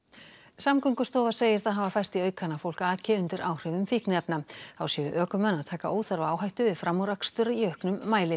Samgöngustofa segir það hafa færst í aukana að fólk aki undir áhrifum fíkniefna þá séu ökumenn að taka óþarfa áhættu við framúrakstur í auknum mæli